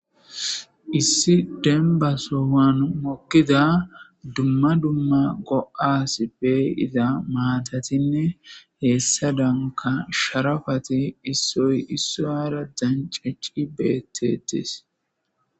issi dembaso han mokkida dumma dumma go7as bey iza maatatinne heessa danka sharafati issoy isso hara dancaci beettetis